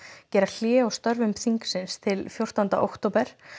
gera hlé á störfum þingsins til fjórtánda október